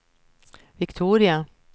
Viktoria